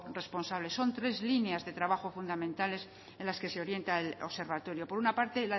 responsable son tres líneas de trabajo fundamentales en las que se orienta el observatorio por una parte